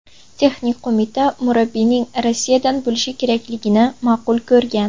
Texnik qo‘mita murabbiyning Rossiyadan bo‘lishi kerakligini ma’qul ko‘rgan.